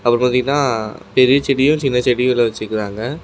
அப்புறம் பாத்தீங்கனா பெரிய செடியும் சின்ன செடிகளு வெச்சிகிறாங்க.